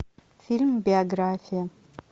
фильм биография